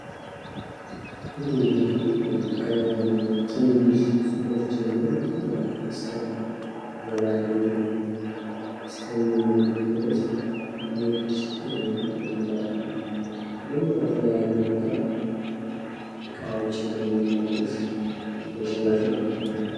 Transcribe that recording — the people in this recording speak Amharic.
ንግድ እንግዲህ ከትንንሽ ሱቆች ጀምሮ እስከ ታላላቅ በባህር ወደብ እስከሚነግዱት ድረስ ንግድ እንለዋለን። ደግሞ ከተለያየ ቦታ እቃዎችን በማመላለስ ለሽያጭ ማቅረብ ነው።